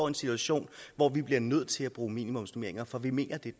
en situation hvor vi bliver nødt til at bruge minimumsnormeringer for vi mener